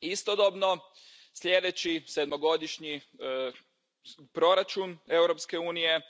Istodobno, sljedeći sedmogodišnji proračun Europske unije